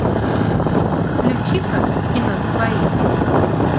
включи ка кино свои